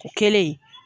O kɛlen